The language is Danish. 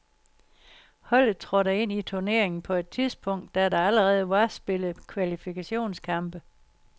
Holdet trådte ind i turneringen på et tidspunkt, da der allerede var spillet kvalifikationskampe.